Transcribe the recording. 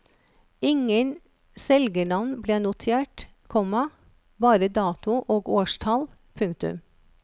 Ingen selgernavn ble notert, komma bare dato og årstall. punktum